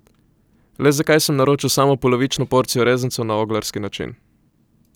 Le zakaj sem naročil samo polovično porcijo rezancev na oglarski način?